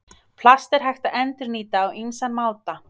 Plast er hægt að endurnýta á ýmsan máta.